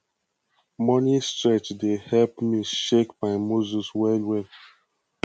morning stretch dey help me shake my muscle well well